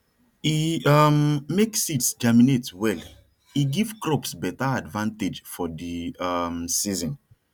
e um make seeds germinate well e give crops better advantage for the um season